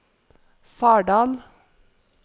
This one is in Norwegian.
Fardal